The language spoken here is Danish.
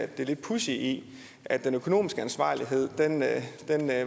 det lidt pudsige i at den økonomiske ansvarlighed